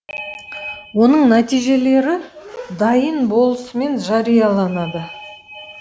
оның нәтижелері дайын болысымен жарияланады